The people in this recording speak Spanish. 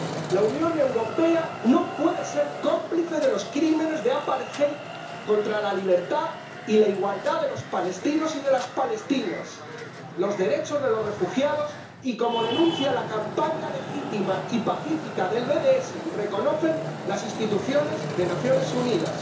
La Unión Europea no puede ser cómplice de los crímenes de apartheid contra la libertad y la igualdad de los palestinos y de las palestinas, contra los derechos de los refugiados, como denuncia la campaña legítima y pacífica BDS y reconocen las instituciones de las Naciones Unidas.